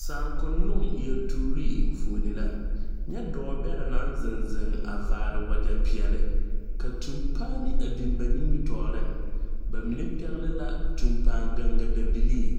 Saakononŋ yeltuuree enfuone la nyɛ dɔɔ bɛrɛ naŋ zeŋ zeŋ a vaare wagyɛ peɛɛli ka tumpaane a biŋ ba nimitooreŋ ba mine pɛgle la tumpaan ganga dabilii